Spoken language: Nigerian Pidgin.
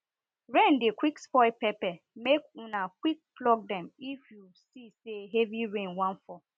rain dey quick spoil pepper make una quick pluck them say heavy rain wan fall